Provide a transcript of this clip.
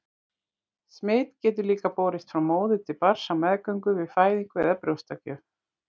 Smit getur líka borist frá móður til barns á meðgöngu, við fæðingu eða brjóstagjöf.